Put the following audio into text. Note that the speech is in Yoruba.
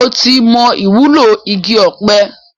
Mo ti mo ìwúlò igi ọpẹ